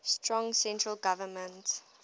strong central government